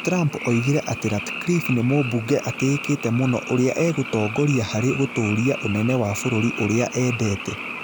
Trump oigire atĩ Ratcliffe nĩ "mubunge atĩĩkĩte mũno" ũrĩa "egũtongoria harĩ gũtũũria ũnene wa vũrũri ũrĩa endete".